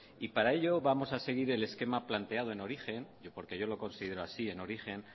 y para ello vamos a seguir el esquema planteado en origen porque yo lo considero así en origen